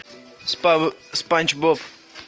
спанч боб